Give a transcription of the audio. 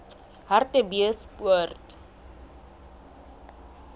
hartbeespoort